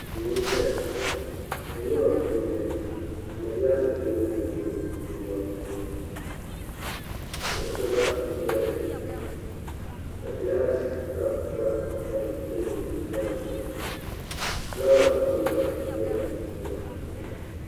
duu n ʒɛya duu maa puuni di ŋmanila teebuli nim n bɛ duu maa puuni ka kuɣusi gba bɛ dinni ka gilaas kaap gba tam teebuli maa zuɣu fulaawa nim gba biɛla duu maa puuni